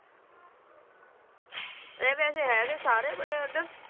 ਇਹ ਵੈਸੇ ਹੈਗੇ ਸਾਰੇ ਬੜੇ ਓਧਰ